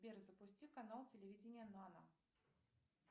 сбер запусти канал телевидения нано